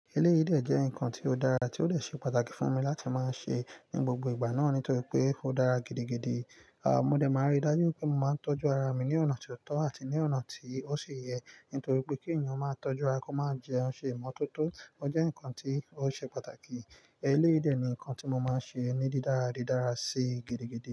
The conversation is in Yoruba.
Eleyi de jẹ́ nǹkan tió dára, tí ó lè ṣe pàtàkì fún mi láti máa ṣe ní gbogbo ìgbà náà nítorí pé ó dára gidigidi. À, mo dẹ̀ máa rí dájú pé mo máa ń tọ́jú ara mi ní ọ̀nà tó tọ́ àti ní ọ̀nà tí ó ṣe yẹ nítorí pé kí ènìyàn máa tọ́jú ara kó máa jẹun ṣe ìmọ́tótó. Ó jẹ́ nǹkan tí ó ṣe pàtàkì. Eleyi de ni nǹkan tí mo máa ń ṣe ní dídára didára sí gidigidi.